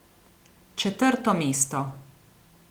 Četrto mesto.